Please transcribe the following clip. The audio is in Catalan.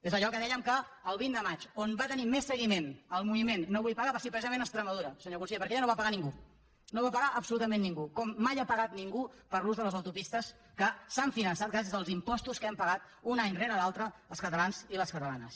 és allò que dèiem que el vint de maig on va tenir més seguiment el moviment no vull pagar va ser precisament a extremadura senyor conseller perquè allà no va pagar ningú no va pagar absolutament ningú com mai ha pagat ningú per l’ús de les autopistes que s’han finançat gràcies als impostos que hem pagat un any rere l’altre els catalans i les catalanes